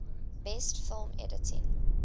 best film editing